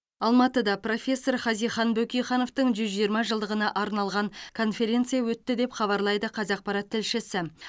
алматыда профессор хазихан бөкейхановтың жүз жиырма жылдығына арналған конференция өтті деп хабарлайды қазақпарат тілшісі